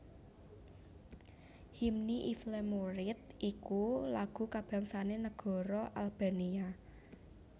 Hymni i Flamurit iku lagu kabangsané negara Albania